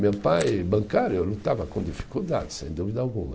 Meu pai, bancário, eu não estava com dificuldade, sem dúvida alguma.